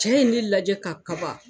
Cɛ ye ne lajɛ ka kaban